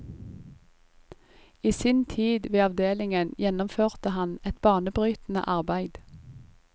I sin tid ved avdelingen gjennomførte han et banebrytende arbeid.